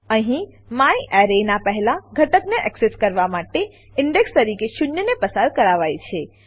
અહીં મ્યારે નાં પહેલા ઘટકને એક્સેસ કરવા માટે ઇન્ડેક્સ ઇન્ડેક્સ તરીકે શૂન્યને પસાર કરાવાય છે